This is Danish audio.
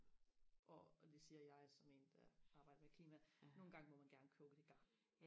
hvor og det siger jeg som en der arbejder med klima nogle gange må man gerne købe det garn